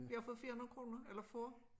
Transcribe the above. Jeg har fået 400 kroner eller få